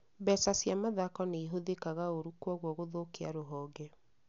Mbeca cia mathako nĩihũthĩkaga ũũru kwoguo gũthũkia rũhonge